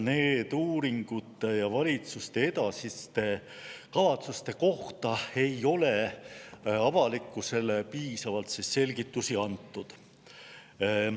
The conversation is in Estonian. Nende uuringute ja valitsuse edasiste kavatsuste kohta ei ole avalikkusele piisavalt selgitusi antud.